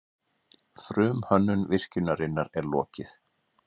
Frumhönnun virkjunarinnar er lokið